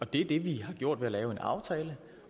det er det vi har gjort ved at lave en aftale